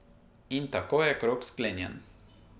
In tako je krog sklenjen.